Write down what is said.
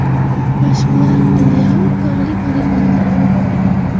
Mashqlar Lyaur tog‘li poligonida bo‘lib o‘tdi.